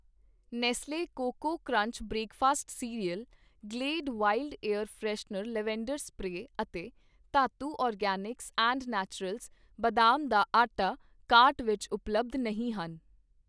Nestle Koko Krunch breakfast cereal, Glade wild air freshener lavender spray ਅਤੇ Dhatu organics and naturals ਬਦਾਮ ਦਾ ਆਟਾ cart ਵਿੱਚ ਉਪਲੱਬਧ ਨਹੀਂ ਹਨ